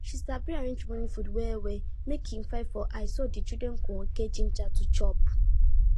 she sabi arrange morning food well well make e fine for eye so the children go get ginger to chop